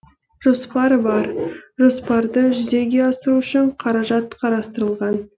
жоспар бар жоспарды жүзеге асыру үшін қаражат қарастырылған